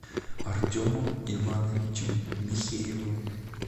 артемом ивановичем михеевым